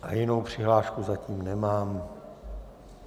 A jinou přihlášku zatím nemám.